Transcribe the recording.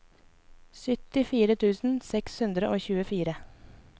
syttifire tusen seks hundre og tjuefire